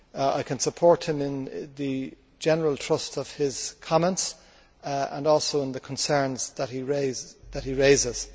I can support him in the general thrust of his comments and also in the concerns that he raises.